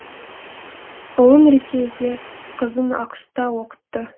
ұлын ресейде қызын ақш та оқытты